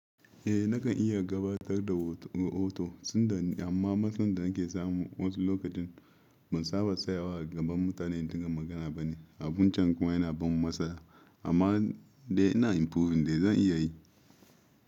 Eh, nakan iya gabatar da rahoto, amma matsin da nake samu wasu lokacin ban saba da tsayawa gaban mutane in dinga magana bane. Abun can kuma yana ban matsala, amma dai ina improving dai zan iya yi.